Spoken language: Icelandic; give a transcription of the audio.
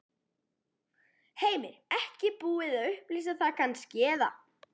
Heimir: Ekki búið að upplýsa það kannski, eða?